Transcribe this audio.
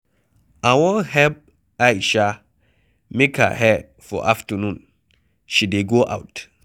I wan help Aisha make her hair for afternoon. She dey go out.